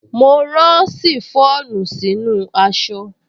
Mo rán ṣìfọ́ònù sínú aṣọ